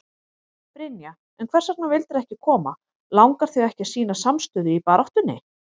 Brynja: En hvers vegna vildirðu ekki koma, langar þig ekki að sýna samstöðu í baráttunni?